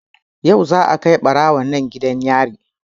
Yau za a kai ɓarawon nan gidan yari